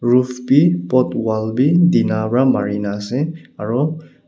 roof bi both wall bi tina pra marina ase aro--